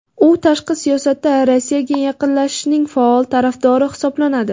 U tashqi siyosatda Rossiyaga yaqinlashishning faol tarafdori hisoblanadi.